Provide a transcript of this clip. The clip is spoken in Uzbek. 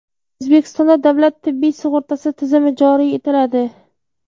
O‘zbekistonda davlat tibbiy sug‘urtasi tizimi joriy etiladi.